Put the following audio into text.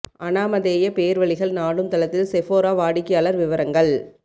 அனாமதேய பேர்வழிகள் நாடும் தளத்தில் செஃபோரா வாடிக்கையாளர் விவரங்கள்